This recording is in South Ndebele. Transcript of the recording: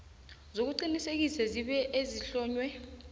zokuqinisekisa zebee ezihlonywe